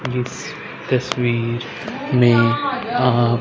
इस तस्वीर में आप--